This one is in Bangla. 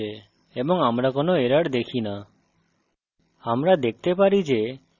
file compiled করা হয়েছে এবং আমরা কোনো error দেখি no